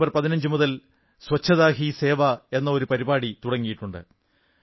September 15 മുതൽ സ്വച്ഛതാ ഹീ സേവാ എന്ന ഒരു പരിപാടി തുടങ്ങിയിട്ടുണ്ട്